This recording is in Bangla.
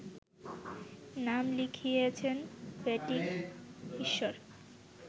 নাম লিখিয়েছেন ব্যাটিং ঈশ্বর